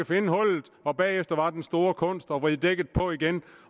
finde hullet bagefter var den store kunst at vride dækket på igen